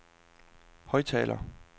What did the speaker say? højttaler